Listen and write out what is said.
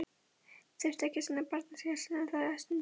Þurfti ekki að sinna barnagæslunni þessa stundina.